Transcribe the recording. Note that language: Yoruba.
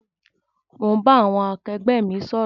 Mo ń bá àwọn akẹgbẹ́ mi sọ̀rọ̀